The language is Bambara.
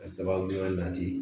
Ka sababuya nati